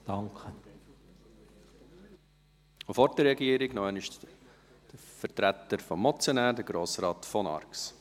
Vor der Regierung, noch einmal der Vertreter des Motionärs, Grossrat von Arx.